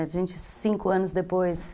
A gente, cinco anos depois...